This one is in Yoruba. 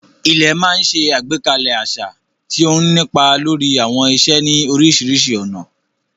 Ilẹ̀ máa ń ṣe àgbékalẹ̀ àṣà, tí ó ń nípa lórí àwọn ìṣe ní oríṣiríṣi ọ̀nà.